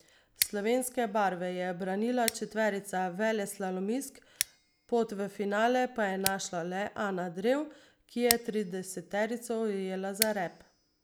Slovenske barve je branila četverica veleslalomistk, pot v finale pa je našla le Ana Drev, ki je trideseterico ujela za rep.